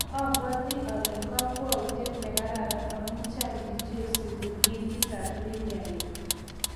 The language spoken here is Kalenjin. Abwati ole kokwautiet nekararan amu Chang' biik che isubi ligitab Premier League